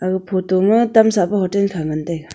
aga photo ma tam sahpe hotel kha ngantaiga.